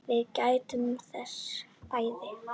Við gættum þess bæði.